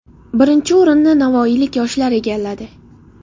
Birinchi o‘rinni navoiylik yoshlar egalladi.